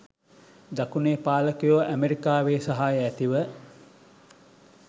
දකුණේ පාලකයෝ ඇමරිකාවේ සහාය ඇතිව